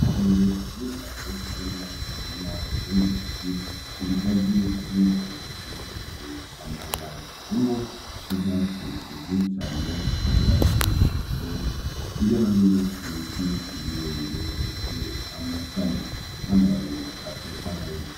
Itongo rinini cane ririmwo umurima w'imyumbati ,ibigazi , n'inzu zubakishije amabati, ivyatsi vyinshi cane bisa n'urwatsi rutoto. Hirya no hino hari ibiti birebire bifise amashami n'amababi atotahaye.